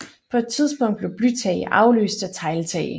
På et tidspunkt blev blytage afløst af tegltage